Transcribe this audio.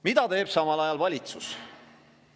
Mida teeb samal ajal valitsus?